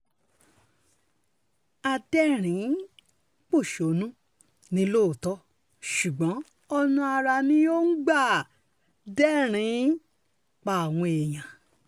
adẹ́rìn-ín pọ́ṣónù ni lóòótọ́ ṣùgbọ́n ọ̀nà àrà ni òun ń gbà dẹ́rìn-ín pa àwọn èèyàn